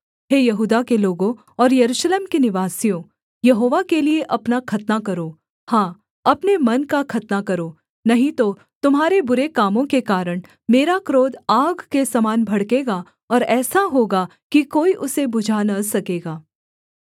हे यहूदा के लोगों और यरूशलेम के निवासियों यहोवा के लिये अपना खतना करो हाँ अपने मन का खतना करो नहीं तो तुम्हारे बुरे कामों के कारण मेरा क्रोध आग के समान भड़केगा और ऐसा होगा की कोई उसे बुझा न सकेगा